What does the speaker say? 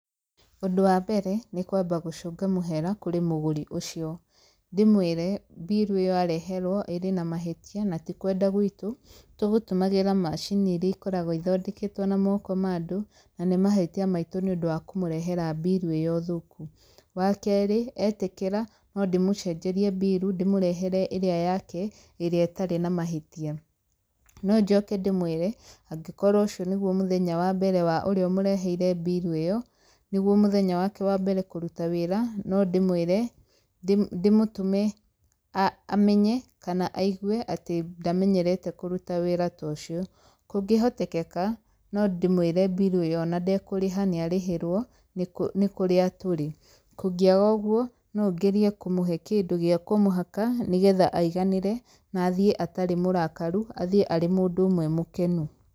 Ũndũ wa mbere, nĩ kwamba gũcũnga mũhera kũrĩ mũgũri ũcio. Ndĩmwĩre, mbiru ĩyo areherwo ĩrĩ na mahĩtia na ti kwenda gwĩtũ, tũgũtũmagĩra macini irĩa ikoragwo ithondeketwo na moko ma andũ, na nĩ mahĩtia maitũ nĩ ũndũ wa kũmũrehera mbiru ĩyo thũku. Wa kerĩ etĩkĩra, no ndĩmũcenjerie mbiru, ndĩmũrehere ĩrĩa yake, ĩrĩa ĩtarĩ na mahĩtia. No njoke ndĩmwĩre, angĩkorwo ũcio nĩguo mũthenya wa mbere wa ũrĩa ũmereheire mbiru ĩyo, nĩguo mũthenya wake wa mbere kũruta wĩra, no ndĩmwĩre, ndĩmũtũme amenye kana aigwe atĩ ndamenyerete kũruta wĩra ta ũcio. Kũngĩhotekeka, no ndĩmwĩre mbiru ĩyo ona ndekũrĩha nĩ arĩhĩrwo nĩ kũrĩa tũrĩ. Kũngĩaga ũguo, no ngerie kũmũhe kĩndũ gĩa kũmũhaka, nĩgetha aiganĩre na athiĩ atarĩ mũrakaru, na athiĩ arĩ mũndũ ũmwe mũkenu.